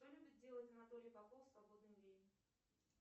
что любит делать анатолий попов в свободное время